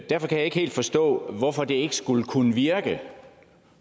derfor kan jeg ikke helt forstå hvorfor det ikke skulle kunne virke